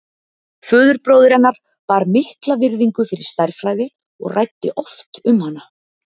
Föðurbróðir hennar bar mikla virðingu fyrir stærðfræði og ræddi oft um hana.